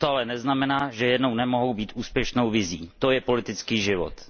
To ale neznamená, že jednou nemohou být úspěšnou vizí, to je politický život.